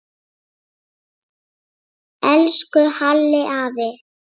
Elsku Halli afi.